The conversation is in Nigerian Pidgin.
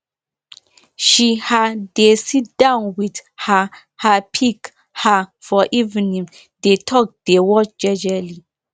she um dey si down with um her pig um for evening dey talk dey watch jejely